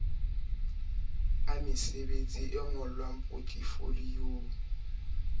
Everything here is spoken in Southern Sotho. a mesebetsi e ngolwang potefoliyo